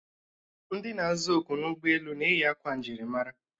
Ndị na-aza oku n'ụgbọelu na-eyi akwa njirimara